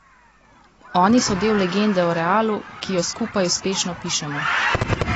Oni so del legende o Realu, ki jo skupaj uspešno pišemo.